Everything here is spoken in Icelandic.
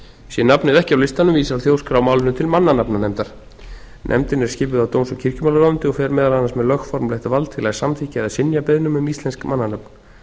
sé nafnið ekki á listanum vísar þjóðskrá nafninu til mannanafnanefndar nefndin er skipuð af dóms og kirkjumálaráðuneyti og fer meðal annars með lögformlegt vald til að samþykkja eða synja beiðnum um íslensk mannanöfn